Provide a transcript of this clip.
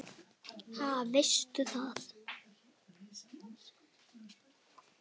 Ha, veistu það?